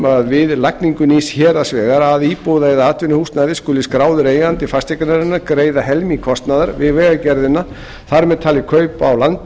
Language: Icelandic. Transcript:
að við lagningu nýs héraðsvegar að íbúðar eða atvinnuhúsnæði skuli skráður eigandi fasteignarinnar greiða helming kostnaðar við vegagerðina þar með talið kaup á landi